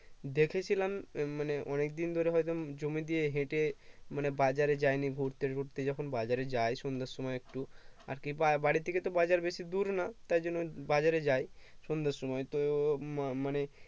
দেখেছিলাম মানে অনেকদিন ধরে হয়তো জমি দিয়ে হেঁটে মানে বাজারে যায়নি ঘুরতে ঘুরতে যখন বাজারে যাই সন্ধ্যের সময় একটু আরকি বা বাড়ি থেকে বাজার বেশি দূর না তার জন্য বাজারে যাই সন্ধের সময় তো মানে